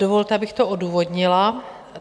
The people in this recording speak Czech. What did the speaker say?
Dovolte, abych to odůvodnila.